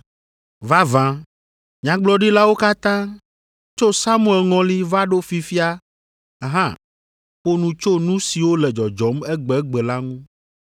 “Vavã nyagblɔɖilawo katã, tso Samuel ŋɔli va ɖo fifia hã ƒo nu tso nu siwo le dzɔdzɔm egbegbe la ŋu.